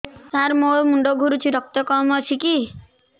ସାର ମୋର ମୁଣ୍ଡ ଘୁରୁଛି ରକ୍ତ କମ ଅଛି କି